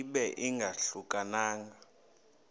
ibe ingahluka nanga